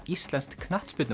íslenskt